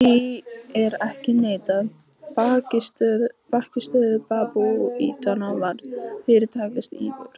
Því er ekki að neita: bækistöð babúítanna var fyrirtaks íverustaður.